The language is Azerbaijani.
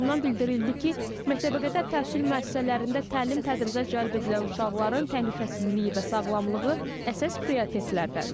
Qurumdan bildirildi ki, məktəbəqədər təhsil müəssisələrində təlim-tədrisə cəlb edilən uşaqların təhlükəsizliyi və sağlamlığı əsas prioritetlərdəndir.